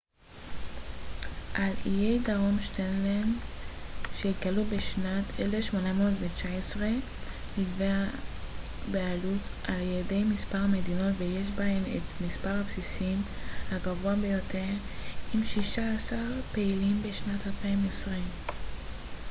על איי דרום שטלנד שהתגלו בשנת 1819 נתבעת בעלות על ידי מספר מדינות ויש בהם את מספר הבסיסים הגבוה ביותר עם שישה עשר פעילים בשנת 2020